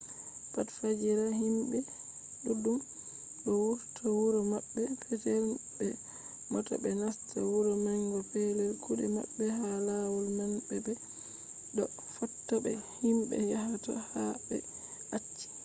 pat fajira himɓe ɗuɗɗum ɗo wurta wuro maɓɓe petel be mota ɓe nasta wuro manga pellel kuɗe maɓɓe. ha lawol man ɓe ɗo fotta be himɓe yahata ha ɓe acci